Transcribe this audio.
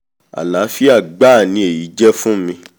àláfíà gbáà ni èyí jẹ́ fún mi